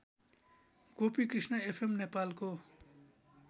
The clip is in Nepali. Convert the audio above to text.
गोपिकृष्ण एफएम नेपालको